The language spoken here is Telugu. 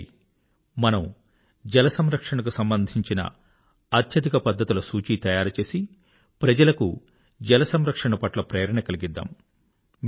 రండి మనం జలసంరక్షణకు సంబంధించిన అత్యధిక పద్ధతుల సూచి తయారుచేసి ప్రజలకు జల సంరక్షణ పట్ల ప్రేరణ కలిగిద్దాం